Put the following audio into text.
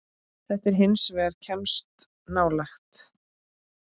Þetta hins vegar kemst nálægt.